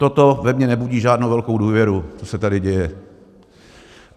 Toto ve mně nebudí žádnou velkou důvěru, co se tady děje.